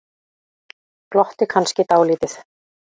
Glotti kannski dálítið.